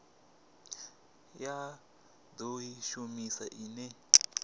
ya do i shumisa ine